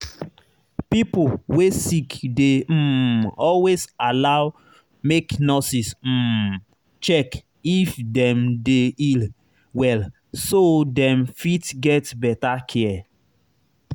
pipo wey sick dey um always allow make nurses um check if dem dey heal well so dem fit get better care